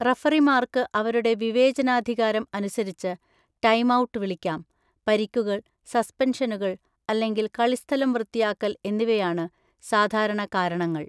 റഫറിമാർക്ക് അവരുടെ വിവേചനാധികാരം അനുസരിച്ച് ടൈംഔട്ട് വിളിക്കാം; പരിക്കുകൾ, സസ്പെൻഷനുകൾ അല്ലെങ്കിൽ കളിസ്ഥലം വൃത്തിയാക്കൽ എന്നിവയാണ് സാധാരണ കാരണങ്ങൾ.